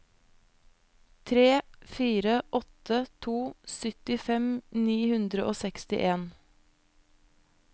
tre fire åtte to syttifem ni hundre og sekstien